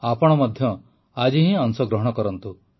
ଆପଣ ମଧ୍ୟ ଆଜି ହିଁ ଅଂଶଗ୍ରହଣ କରନ୍ତୁ